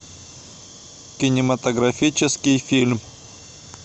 кинематографический фильм